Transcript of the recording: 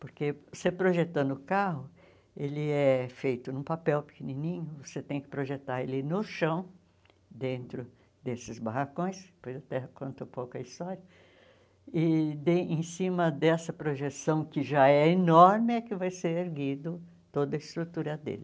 Porque você projetando o carro, ele é feito num papel pequenininho, você tem que projetar ele no chão, dentro desses barracões, depois até conto um pouco a história, e de em cima dessa projeção, que já é enorme, é que vai ser erguido toda a estrutura dele.